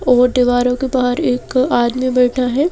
और दीवारों के बाहर एक आदमी बैठा है।